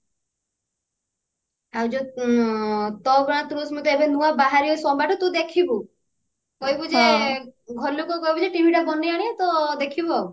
ଆଉ ଯଉ ତୋ ଆଁ ଅଗଣାର ତୁଳସୀ ମୁଁ ଏବେ ନୂଆ ବାହାରିବ ସୋମବାରଠୁ ତୁ ଦେଖିବୁ କହିବୁ ଯେ ଘର ଲୋକଙ୍କୁ କହିବୁ ଯେ TV ଟା ବନେଇ ଆଣିବେ ତ ଦେଖିବୁ ଆଉ